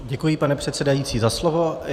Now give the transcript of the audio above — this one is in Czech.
Děkuji, pane předsedající, za slovo.